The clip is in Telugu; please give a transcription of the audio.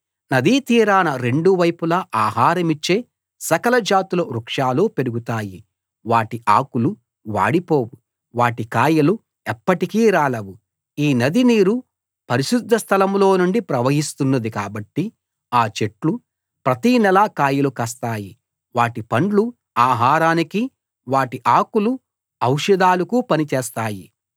నదీతీరాన రెండు వైపులా ఆహారమిచ్చే సకల జాతుల వృక్షాలు పెరుగుతాయి వాటి ఆకులు వాడిపోవు వాటి కాయలు ఎప్పటికీ రాలవు ఈ నది నీరు పరిశుద్ధ స్థలంలో నుండి ప్రవహిస్తున్నది కాబట్టి ఆ చెట్లు ప్రతి నెలా కాయలు కాస్తాయి వాటి పండ్లు ఆహారానికీ వాటి ఆకులు ఔషధాలకు పని చేస్తాయి